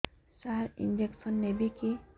ସାର injection ନେବିକି